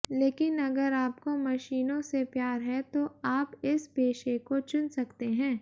लेकिन अगर आपको मशीनों से प्यार है तो आप इस पेशे को चुन सकते हैं